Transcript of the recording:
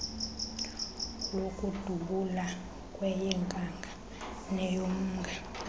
lokudubula kweyenkanga neyomnga